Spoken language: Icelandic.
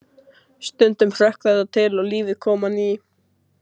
Stundum hrökk þetta til og lífið kom á ný.